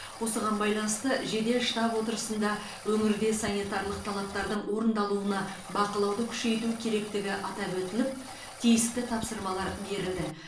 осыған байланысты жедел штаб отырысында өңірде санитарлық талаптардың орындалуына бақылауды күшейту керектігі атап өтіліп тиісті тапсырмалар берілді